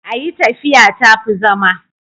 a yi tafiya ta fi zama